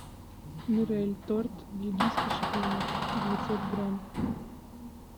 мирель торт бельгийский шоколад девятьсот грамм